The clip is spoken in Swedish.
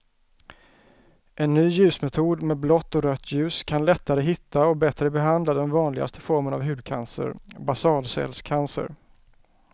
En ny ljusmetod med blått och rött ljus kan lättare hitta och bättre behandla den vanligaste formen av hudcancer, basalcellscancer.